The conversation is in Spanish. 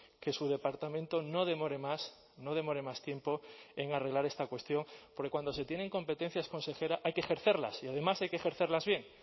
que su departamento no demore más no demore más tiempo en arreglar esta cuestión porque cuando se tienen competencias consejera hay que ejercerlas y además hay que ejercerlas bien